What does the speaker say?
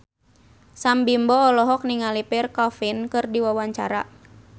Sam Bimbo olohok ningali Pierre Coffin keur diwawancara